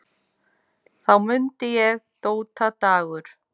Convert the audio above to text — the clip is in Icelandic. Þá mundi ég: Dóta Dagur.